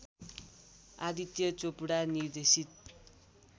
आदित्य चोपडा निर्देशित